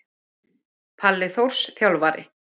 Palli Þórs Þjálfari.